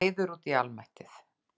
Reiður út í almættið.